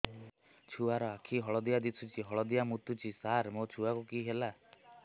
ଛୁଆ ର ଆଖି ହଳଦିଆ ଦିଶୁଛି ହଳଦିଆ ମୁତୁଛି ସାର ମୋ ଛୁଆକୁ କି ହେଲା